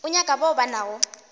o nyaka bao ba nago